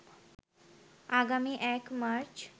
আগামী ১ মার্চ